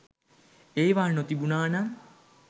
ඒවා නොතිබුනා නම්